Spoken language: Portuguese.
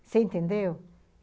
Você entendeu?